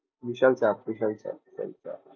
বিশাল চাপ বিশাল চাপ